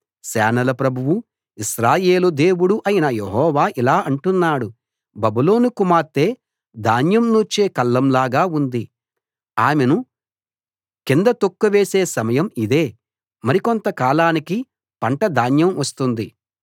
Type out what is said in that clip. సేనల ప్రభువూ ఇశ్రాయేలు దేవుడూ అయిన యెహోవా ఇలా అంటున్నాడు బబులోను కుమార్తె ధాన్యం నూర్చే కళ్ళం లాగా ఉంది ఆమెను కింద తొక్కివేసే సమయం ఇదే మరికొంత కాలానికి పంట ధాన్యం వస్తుంది